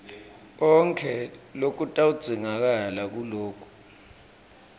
konkhe lokutawudzingakala nguloku